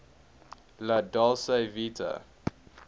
la dolce vita